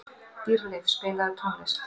Dýrleif, spilaðu tónlist.